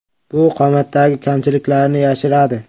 Bu qomatdagi kamchiliklarni yashiradi.